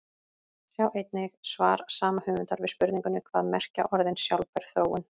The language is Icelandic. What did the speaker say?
Sjá einnig svar sama höfundar við spurningunni Hvað merkja orðin sjálfbær þróun?